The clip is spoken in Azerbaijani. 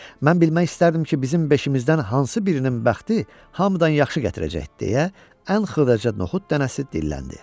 Mən bilmək istərdim ki, bizim beşimizdən hansı birinin bəxti hamıdan yaxşı gətirəcəkdir, deyə ən xırdaca noxud dənəsi dilləndi.